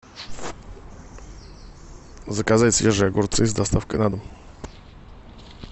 заказать свежие огурцы с доставкой на дом